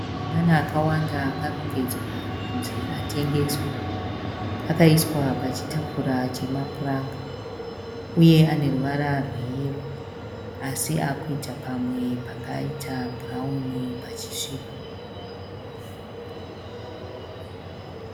Mabanana akawanda akarongedzwa kunzi atengeswe. Akaiswa pachitafura chemapuranga . Uye aneruvara rweyero , asi akuita pamwe pakaita bhurauni pachisviba .